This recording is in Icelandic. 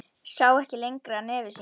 Sá ekki lengra nefi sínu.